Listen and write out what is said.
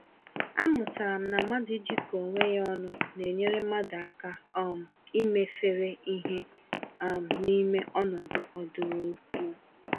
Amụtara m na mmadụ ijikọ onwe ya ọnụ nenyere mmadụ aka um imefere ìhè um n'ime ọnọdụ ọdụrụkụọ.